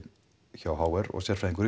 hjá h r og sérfræðingur í